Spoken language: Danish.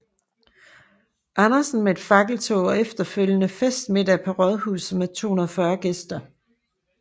Andersen med et fakkeltog og efterfølgende festmiddag på rådhuset med 240 gæster